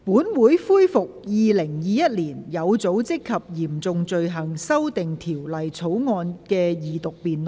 本會恢復《2021年有組織及嚴重罪行條例草案》的二讀辯論。